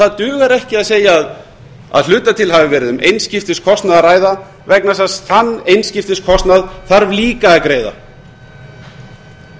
það dugar ekki að segja að að hluta til hafi verið um einskiptiskostnað að ræða vegna þess að þann einskiptiskostnað þarf líka að greiða